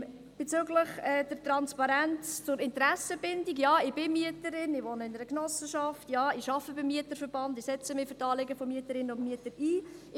Bezüglich der Transparenz zur Interessenbindung: Ja, ich bin Mieterin und wohne in einer Genossenschaft, und ja, ich arbeite beim Mieterverband und setze mich für die Anliegen der Mieterinnen und Mieter ein.